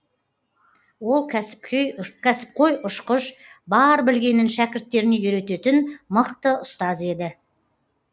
ол кәсіпқой ұшқыш бар білгенін шәкірттеріне үйрететін мықты ұстаз еді